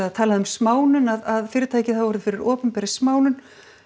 um smánun að fyrirtækið hafi orðið fyrir opinberri smánun